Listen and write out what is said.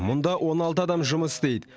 мұнда он алты адам жұмыс істейді